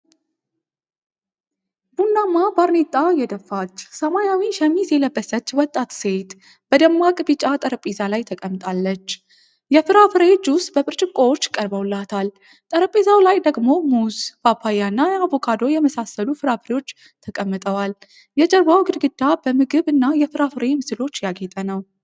ቡናማ ባርኔጣ የደፋች፣ ሰማያዊ ሸሚዝ የለበሰች ወጣት ሴት በደማቅ ቢጫ ጠረጴዛ ላይ ተቀምጣለች። የፍራፍሬ ጅስ በብርጭቆዎች ቀርበውላታል፣ ጠረጴዛው ላይ ደግሞ ሙዝ፣ ፓፓያ እና አቮካዶ የመሳሰሉ ፍራፍሬዎች ተቀምጠዋል። የጀርባው ግድግዳ በምግብ እና የፍራፍሬ ምስሎች ያጌጠ ነው።